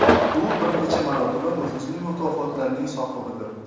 U bir necha marotaba nufuzli mukofotlarning sohibidir.